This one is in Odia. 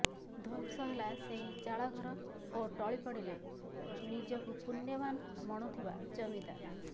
ଧ୍ୱଂସ ହେଲା ସେହି ଚାଳଘର ଓ ଟଳି ପଡ଼ିଲେ ନିଜକୁ ପୁଣ୍ୟବାନ୍ ମଣୁଥିବା ଜମିଦାର